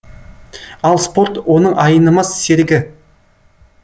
ал спорт оның айнымас серігі